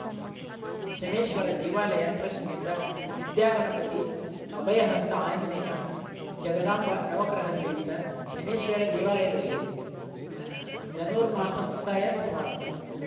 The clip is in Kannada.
ಶನೈಶ್ಚರ ದೇವಾಲಯ ಟ್ರಸ್ಟ್‌ನಿಂದ ವಿದ್ಯಾಗಣಪತಿ ಅಭಯಹಸ್ತ ಆಂಜನೇಯ ಜಗದಾಂಬ ನವಗ್ರಹ ಸಹಿತ ಶನೈಶ್ಚರ ದೇವಾಲಯದಲ್ಲಿ ಹ್ ಧನುರ್ಮಾಸ ಮುಕ್ತಾಯ ಸಮಾರಂಭ